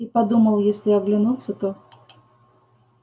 и подумал если оглянутся то